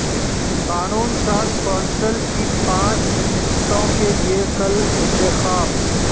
قانون ساز کونسل کی پانچ نشستوں کیلئے کل انتخاب